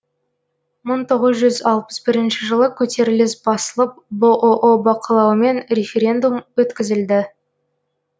мың тоғыз жүз алпыс бірінші жылы көтеріліс басылып бұұ бақылауымен референдум өткізілді